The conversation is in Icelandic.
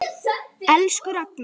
Elsku Ragnar.